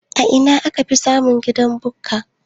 Ina akafi samun gidan Bukka?